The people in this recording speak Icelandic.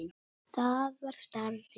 Það var starri!